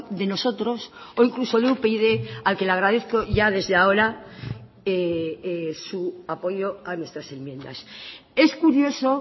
de nosotros o incluso de upyd al que le agradezco ya desde ahora su apoyo a nuestras enmiendas es curioso